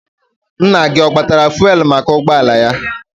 Nna gị ọ gbatara fụelụ maka ụgbọala ya?